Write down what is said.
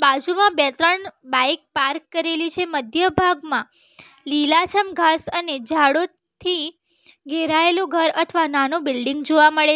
બાજુમાં બે ત્રણ બાઈક પાર્ક કરેલી છે મધ્ય ભાગમાં લીલાછમ ઘાસ અને જાડો થી ઘેરાયેલું ઘર અથવા નાનું બિલ્ડીંગ જોવા મળે છ --